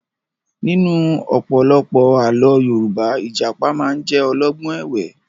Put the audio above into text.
Nínú ọ̀pọ̀lọpọ̀ àlọ́ Yorùbá, Ìjàpá máa ń jẹ́ olọ́gbọ́n ẹ̀wẹ́